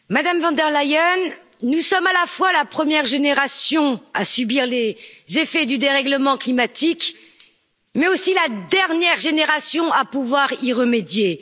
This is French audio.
Monsieur le Président, Madame von der Leyen, nous sommes à la fois la première génération à subir les effets du dérèglement climatique, mais aussi la dernière génération à pouvoir y remédier.